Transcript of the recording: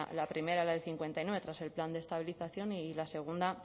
la primera la del cincuenta y nueve tras el plan de estabilización y la segunda